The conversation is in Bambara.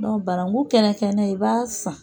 Dɔn banangun kɛnɛ kɛnɛ i b'a san.